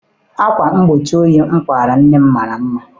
Akwa mgbochi oyi m kpara nne m mara mma.